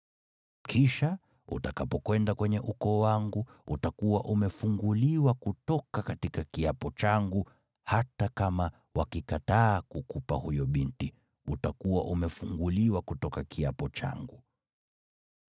Kisha, utakapokwenda kwenye ukoo wangu, utakuwa umefunguliwa kutoka kiapo changu hata kama wakikataa kukupa huyo binti, utakuwa umefunguliwa kutoka kiapo changu.’